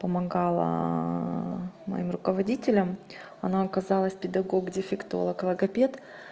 помогала моим руководителем она оказалась педагог дефектолог логопед